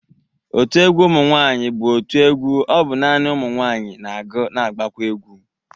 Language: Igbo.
Otu egwu ụmụ nwaanyị bụ otu egwu ọ bụ nani ụmụ nwaanyị na-agụ na agbakwa egwu.